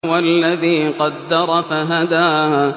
وَالَّذِي قَدَّرَ فَهَدَىٰ